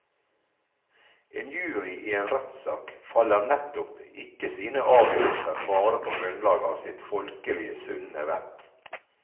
En jury i en rettssak fatter nettopp ikke sine avgjørelser bare på grunnlag av sitt folkelige sunne vett.